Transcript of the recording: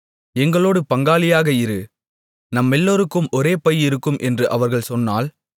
எங்களோடு பங்காளியாக இரு நம்மெல்லோருக்கும் ஒரே பை இருக்கும் என்று அவர்கள் சொன்னால்